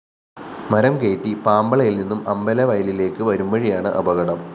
മരം കയറ്റി പാമ്പളയില്‍ നിന്നും അമ്പലവയലിലേക്ക് വരുംവഴിയാണ് അപകടം